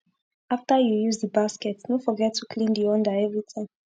after u use d basket no forget to clean d under everi time